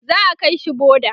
za'a kaishi boda